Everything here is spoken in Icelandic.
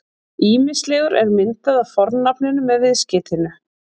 Ýmislegur er myndað af fornafninu með viðskeytinu-